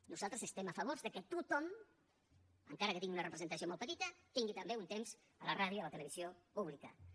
nosaltres estem a favor que tothom encara que tingui una representació molt petita tingui també un temps a la ràdio i a la televisió públiques